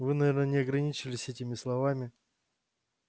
вы наверное не ограничились этими словами